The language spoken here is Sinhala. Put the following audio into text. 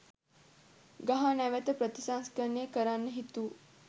ගහ නැවත ප්‍රතිසංස්කරණය කරන්න හිතු